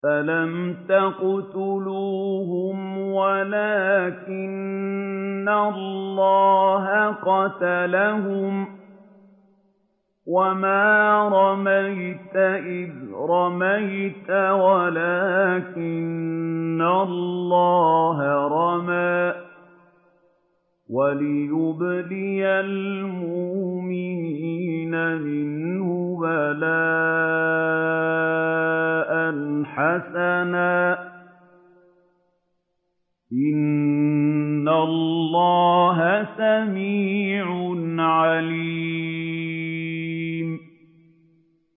فَلَمْ تَقْتُلُوهُمْ وَلَٰكِنَّ اللَّهَ قَتَلَهُمْ ۚ وَمَا رَمَيْتَ إِذْ رَمَيْتَ وَلَٰكِنَّ اللَّهَ رَمَىٰ ۚ وَلِيُبْلِيَ الْمُؤْمِنِينَ مِنْهُ بَلَاءً حَسَنًا ۚ إِنَّ اللَّهَ سَمِيعٌ عَلِيمٌ